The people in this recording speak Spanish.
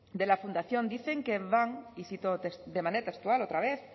de la fundación dicen que van y cito de manera textual otra vez